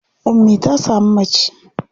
Ummi ta samu mace.